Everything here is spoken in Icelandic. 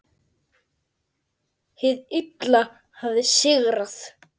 Hið illa hafði sigrað.